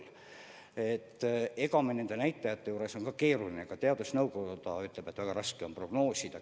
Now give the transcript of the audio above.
Samas teadusnõukoda ütleb, et nende näitajate juures on keeruline, väga raske prognoosida.